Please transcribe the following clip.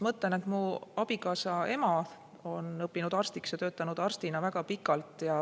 Mu abikaasa ema on õppinud arstiks ja töötanud arstina väga pikalt.